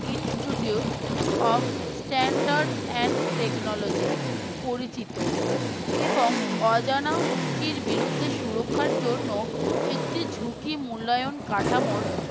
institute of Standard and Technology পরিচিত এবং অজানা হুমকির বিরুদ্ধে সুরক্ষার জন্য একটি ঝুঁকি মূল্যায়ন কাঠামোর